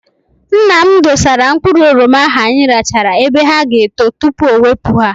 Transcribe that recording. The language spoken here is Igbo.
Nna m dosara mkpụrụ oroma ahụ anyị rachara ebe ha ga- eto tupu ọ wepụ ha.